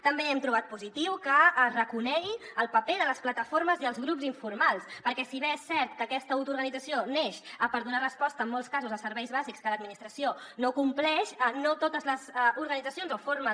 també hem trobat positiu que es reconegui el paper de les plataformes i els grups informals perquè si bé és cert que aquesta autoorganització neix per donar resposta en molts casos a serveis bàsics que l’administració no compleix no totes les organitzacions o formes